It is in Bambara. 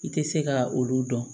I tɛ se ka olu dɔn